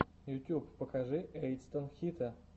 ютьюб покажи эйтсан хита